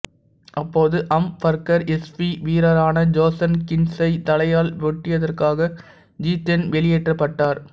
அப்போது Hamburger SV வீரரான Jochen கீன்ட்ஸை தலையால் முட்டியதற்காக ஜிதேன் வெளியேற்றப்பட்டார்